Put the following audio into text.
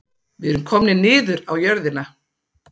Við erum komnir niður á jörðina